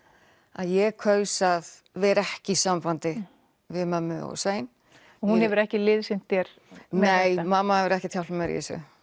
að ég kaus að vera ekki í sambandi við mömmu og Svein og hún hefur ekki liðsinnt þér nei mamma hefur ekkert hjálpað mér í þessu